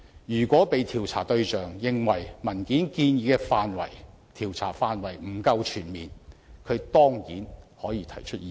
如果被調查對象認為文件建議的調查範圍不夠全面，他當然可以提出意見。